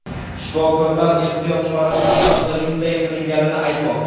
Shifokorlar ehtiyot chorasi sifatida shunday qilinganini aytmoqda.